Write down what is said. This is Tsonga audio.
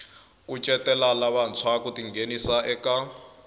kucetela lavantshwa ku tinghenisa eka